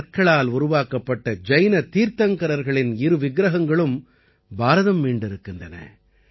கற்களால் உருவாக்கப்பட்ட ஜைன தீர்த்தங்கரர்களின் இரு விக்கிரகங்களும் பாரதம் மீண்டிருக்கின்றன